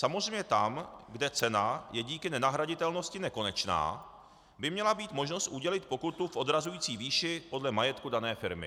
Samozřejmě tam, kde cena je díky nenahraditelnosti nekonečná, by měla být možnost udělit pokutu v odrazující výši podle majetku dané firmy.